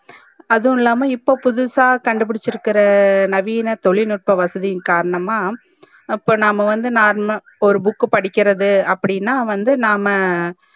அதுவும் இல்லாமா இப்போ புதுசா கண்டு புடிச்சிருக்க நவீன தொழில்நுட்ப வசதியின் காரணமா அப்போ நம்ப வந்து ஒரு book படிக்கிறது அப்டினா வந்து நாம